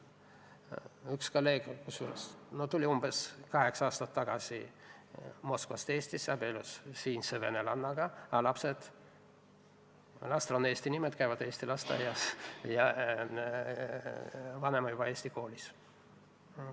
Üks kolleeg tuli umbes kaheksa aastat tagasi Moskvast Eestisse, abiellus siinse venelannaga, aga lastel on eesti nimed, käivad eesti lasteaias ja vanem juba eesti koolis.